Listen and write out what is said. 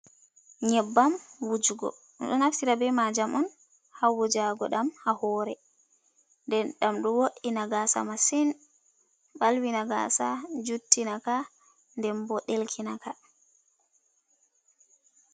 Nyebbam wujugo, ɗo naftira be majam on ha wujago ɗam ha hore, de ɗam ɗo wo'ina gasa masin, balwi na gasa, juttinaka, den bo ɗelkinaka.